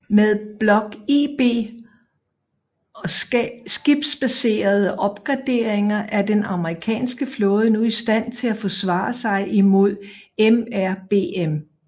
Med Block IB og skibsbaserede opgraderinger er den amerikanske flåde nu i stand til at forsvare sig imod MRBM